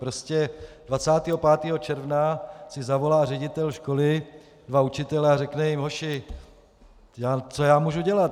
Prostě 25. června si zavolá ředitel školy dva učitele a řekne jim: "Hoši, co já můžu dělat?